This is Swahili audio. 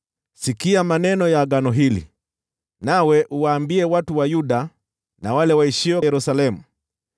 “Sikia maneno ya agano hili, nawe uwaambie watu wa Yuda na wale waishio Yerusalemu.